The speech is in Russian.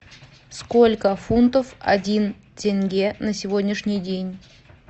сколько фунтов один тенге на сегодняшний день